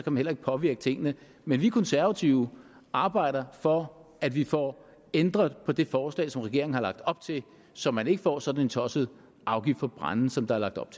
man heller ikke påvirke tingene men vi konservative arbejder for at vi får ændret på det forslag som regeringen har lagt op til så man ikke får sådan en tosset afgift på brænde som der er lagt op